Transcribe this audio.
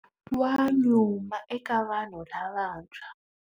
Wa nyuma eka vanhu lavantshwa.